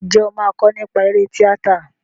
Ǹjẹ́ o máa kọ nípa eré tíátà?